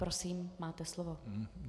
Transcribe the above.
Prosím, máte slovo.